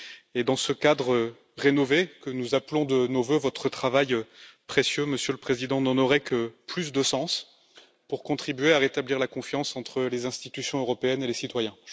Et dans ce cadre rénové que nous appelons de nos vœux, votre travail précieux, Monsieur le Président, n'en aurait que plus de sens pour contribuer à rétablir la confiance entre les institutions européennes et les citoyens.